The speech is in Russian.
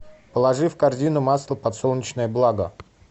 положи в корзину масло подсолнечное благо